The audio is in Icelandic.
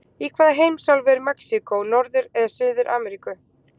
Í hvaða heimsálfu er Mexíkó, Norður- eða Suður-Ameríku?